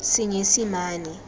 senyesimane